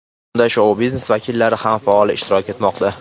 Unda shou-biznes vakillari ham faol ishtirok etmoqda.